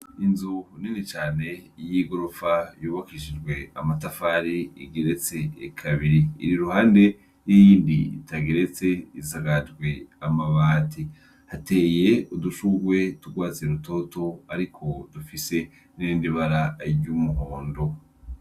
Inzu nini cane y'igorofa yubakishijwe amatafari igeretse kabiri iri i ruhande y'iyindi itageretse isakajwe amabati, hateye udushurwe tw'urwatsi rutoto ariko dufise n'irindi bara ry'umuhondo.